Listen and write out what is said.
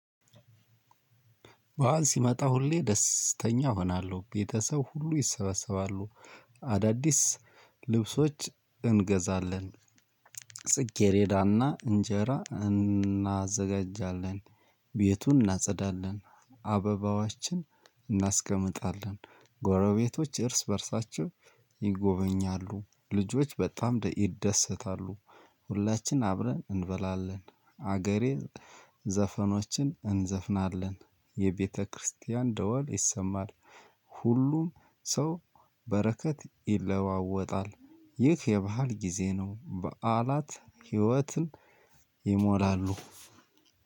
ባህል ሲመጣ ሁሌ ደስተኛ እሆናለሁ ቤተሰብ ሁሉ ይሰበሰባሉ አዳዲስ ልብሶች እንገዛለን። ጽጌሬዳና እንጀራ እናዘጋጃለን ቤቱን እናጸዳለን አበባዋችን እናስቀምጣለን ጎረቤቶች እርስ በእርሳቸው ይጎበኛሉ ልጆች በጣም ደኢ ይደሰታሉ። ሁላችን አብረን እንበላለን አገሬ ዘፈኖችን እንዘፍናለን የቤተክርስቲያን ደወል ይሰማል። ሁሉም ሰው በረከት ይለዋወጣል። ይህ የባህል ጊዜ ነው። በዓላት ህይወትን ይሞላሉ።